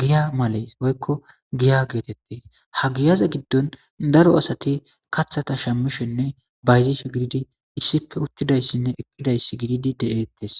giya maleys woykko giya geetettes ha giyaza giddon daro asati kathata shammishenne bayzishe gididi issipe uttidayssinne ekidayss gididi deeettes